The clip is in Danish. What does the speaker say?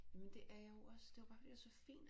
Jamen det er jeg jo også det var bare fordi det er så fint